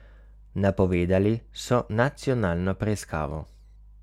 Napovedali so nacionalno preiskavo.